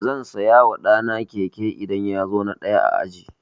Zan saya ma ɗa na keke idan ya zo na ɗaya a aji.